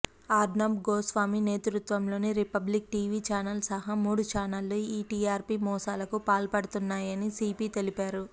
అర్నబ్ గోస్వామి నేతృత్వంలోని Republic TV channel సహా మూడు ఛానెళ్లు ఈ టీఆర్పీ మోసాలకు పాల్పడుతున్నాయని సీపీ తెలిపారు